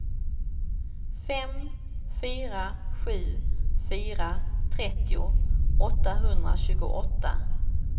fem fyra sju fyra trettio åttahundratjugoåtta